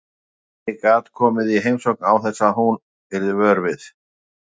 Enginn gat komið í heimsókn án þess að hún yrði vör við.